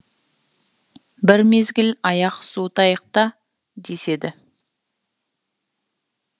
бір мезгіл аяқ суытайық та деседі